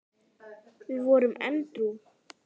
Við vorum edrú.